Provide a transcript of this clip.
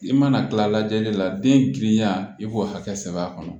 I mana kila lajɛli la den girinya i b'o hakɛ sɛbɛ a kɔnɔ